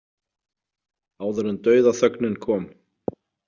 Áður en dauðaþögnin kom.